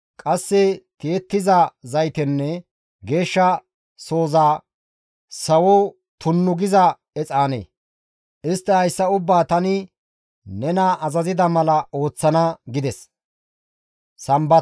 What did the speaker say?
qasse tiyettiza zaytenne geeshsha sozas sawo tunnu giza exaane. Istti hayssa ubbaa tani nena azazida mala ooththana» gides.